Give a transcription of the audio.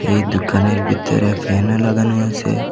এই দোকানের বিতরে ফ্যানও লাগানো আসে।